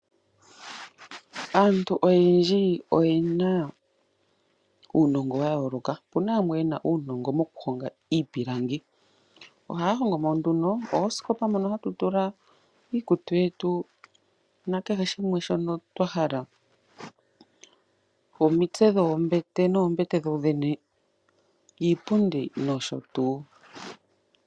Aantu oyendji oyena uunongo wa yoloka opuna yamwe yena uunongo moku honga iipilangi. Ohaya hongo mo nduno ooskopa dhono hatu tula iikutu yetu nakehe shimwe shono twahala, oomitse dhoombete, oombete dho dhene, iipundi noshotu.